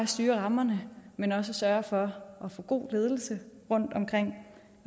styre rammerne men også sørge for at få god ledelse rundtomkring